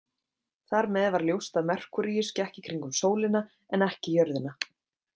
Þar með var ljóst að Merkúríus gekk í kringum sólina en ekki jörðina.